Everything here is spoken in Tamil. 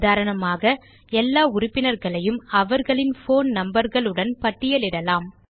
உதாரணமாக எல்லா உறுப்பினர்களையும் அவர்களின் போன் numberகள் உடன் பட்டியலிடலாம்